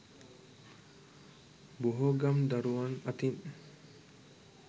බොහෝ ගම් දරුවන් අතින්